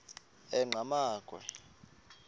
enqgamakhwe